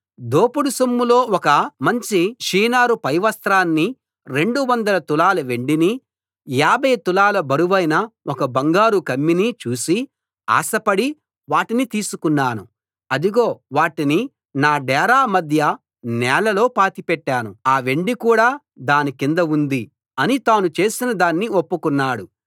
దోపుడు సొమ్ములో ఒక మంచి షీనారు పైవస్త్రాన్నీ రెండువందల తులాల వెండినీ యాభై తులాల బరువైన ఒక బంగారు కమ్మీనీ చూసి ఆశపడి వాటిని తీసుకున్నాను అదిగో వాటిని నా డేరా మధ్య నేలలో పాతిపెట్టాను ఆ వెండి కూడా దాని కింద ఉంది అని తాను చేసిన దాన్ని ఒప్పుకున్నాడు